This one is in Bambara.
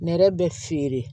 Nɛrɛ bɛ feere